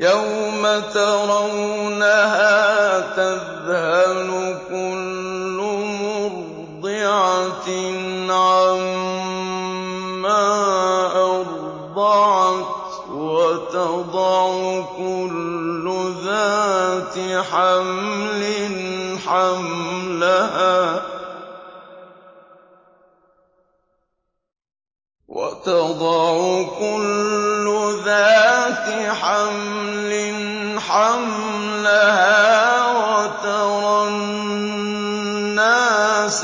يَوْمَ تَرَوْنَهَا تَذْهَلُ كُلُّ مُرْضِعَةٍ عَمَّا أَرْضَعَتْ وَتَضَعُ كُلُّ ذَاتِ حَمْلٍ حَمْلَهَا وَتَرَى النَّاسَ